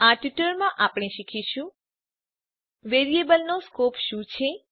આ ટ્યુટોરીયલમાં આપણે શીખીશું વેરીએબલનો સ્કોપ શું છે